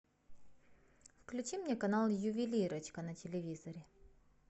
включи мне канал ювелирочка на телевизоре